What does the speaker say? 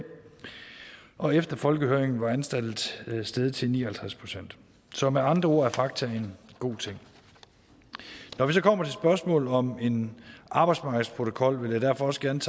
og efter folkehøringen var antallet steget til ni og halvtreds procent så med andre er fakta en god ting når vi så kommer til spørgsmålet om en arbejdsmarkedsprotokol vil jeg derfor også gerne